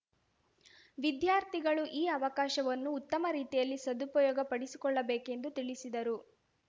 ವಿದ್ಯಾರ್ಥಿಗಳು ಈ ಅವಕಾಶವನ್ನು ಉತ್ತಮ ರೀತಿಯಲ್ಲಿ ಸದುಪಯೋಗ ಪಡಿಸಿಕೊಳ್ಳಬೇಕೆಂದು ತಿಳಿಸಿದರು